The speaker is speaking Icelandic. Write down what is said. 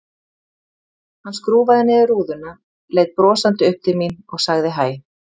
Hann skrúfaði niður rúðuna, leit brosandi upp til mín og sagði hæ.